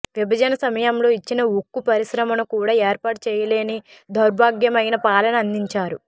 విభజన సమయంలో ఇచ్చిన ఉక్కు పరిశ్రమను కూడా ఏర్పాటు చేయలేని దౌర్భాగ్యమైన పాలన అందించారు